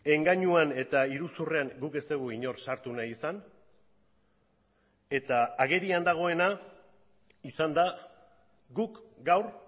engainuan eta iruzurrean guk ez dugu inor sartu nahi izan eta agerian dagoena izan da guk gaur